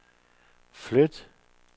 flyt